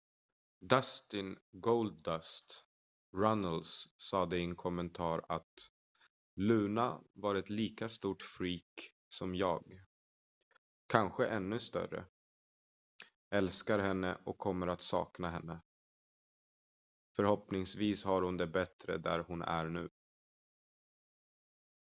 "dustin "goldust" runnels sade i en kommentar att "luna var ett lika stort freak som jag ... kanske ännu större ... älskar henne och kommer att sakna henne ... förhoppningsvis har hon det bättre där hon är nu.""